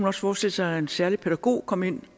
også forestille sig en særlig pædagog komme ind